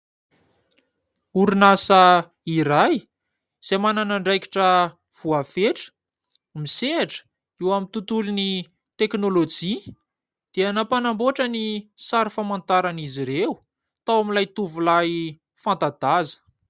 Orinasa iray, izay manana andraikitra voafetra, misehatra eo amin'ny tontolon'ny teknolojia, dia nampanamboatra ny sary famantaran'izy ireo tao amin'ilay tovolahy fanta-daza.